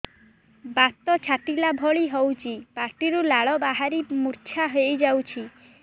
ବାତ ଛାଟିଲା ଭଳି ହଉଚି ପାଟିରୁ ଲାଳ ବାହାରି ମୁର୍ଚ୍ଛା ହେଇଯାଉଛି